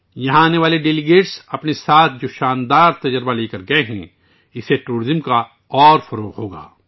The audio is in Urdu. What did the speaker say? یہاں آنے والے مندوبین جو حیرت انگیز تجربہ اپنے ساتھ لے کر گئے ہیں اس سے سیاحت کو مزید وسعت ملے گی